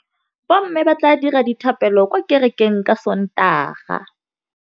Bommê ba tla dira dithapêlô kwa kerekeng ka Sontaga.